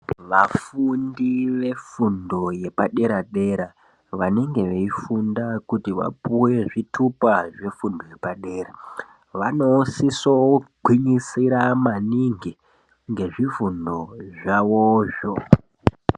Vafundi vefundo yepadera dera vanenge veifunda kuti vapuwe zvitupa zvefundo yepadera vanosiswe kugwinyisira maningi ngezvifundo zvavozvo